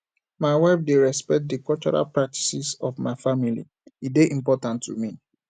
my wife dey respect di cultural practices of my family e dey important to me